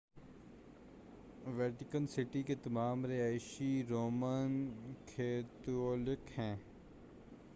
Vatican City کے تمام رہائشی رومن کیتھولک ہیں